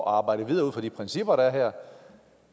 at arbejde videre ud fra de principper der er her